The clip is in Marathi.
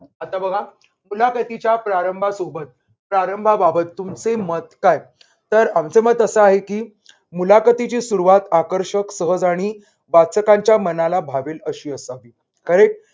आता बघा. मुलाखतीच्या प्रारंभासोबत प्रारंभाबाबत तुमचे मत काय? तर आमचे मत अस आहे की मुलाखतीची सुरुवात आकर्षक सहज आणि वाचकांच्या मनाला भावेल अशी असावी. correct